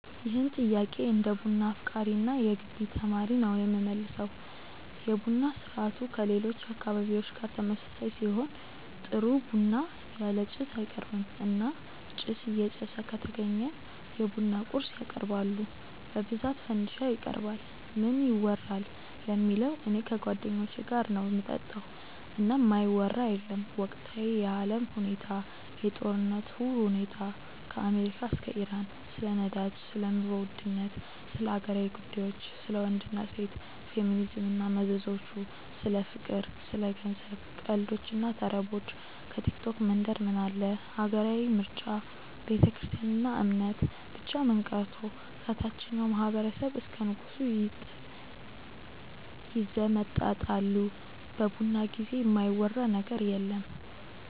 ይህን ጥያቄ እንደ ቡና አፍቃሪ እና የገቢ ተማሪ ነው የምመልሰው። የቡና ስርአቱ ከሌሎች አካባቢዎች ጋር ተመሳሳይ ሲሆን ጥሩ ቡና ያለ ጭስ አይቀርብም እና ጭስ እየጨሰ ከተገኘ የቡና ቁርስ ያቀርባሉ በብዛት ፈንዲሻ ይቀርባል። ምን ይወራል ለሚለው እኔ ከጓደኞቼ ጋር ነው ምጠጣው እና የማይወራ የለም ወቅታዊ የአለም ሁኔታ፣ የጦርነቱ ሁኔታ ከአሜሪካ እስከ ኢራን፣ ስለ ነዳጅ፣ ስለ ኑሮ ውድነት፣ ስለ ሀገራዊ ጉዳዮች፣ ስለ ወንድ እና ሴት፣ ፌሚኒዝም እና መዘዞቹ፣ ስለ ፍቅር፣ ስለ ገንዘብ፣ ቀልዶች እና ተረቦች፣ ከቲክቶክ መንደር ምን አለ፣ ሀገራዊ ምርጫ፣ ቤተክርስትያን እና እምነት፣ ብቻ ምን ቀርቶ ከታቸኛው ማህበረሰብ እስከ ንጉሱ ይዘመጠጣሉ በቡና ጊዜ የማይወራ ነገር የለም።